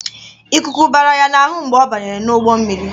Ikuku bara ya n'ahụ mgbe ọ banyere ụgbọ mmiri.